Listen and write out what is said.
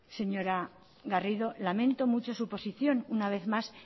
señora garrido lamento mucho su posición una vez más